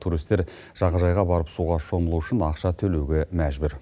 туристер жағажайға барып суға шомылу үшін ақша төлеуге мәжбүр